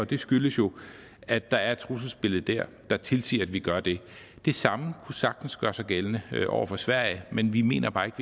det skyldes jo at der er et trusselbillede der der tilsiger at vi gør det det samme kunne sagtens gøre sig gældende over for sverige men vi mener bare ikke